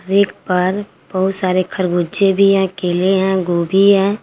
Rack पर बहुत सारे खरबूजे भी हैं केले हैं गोभी है।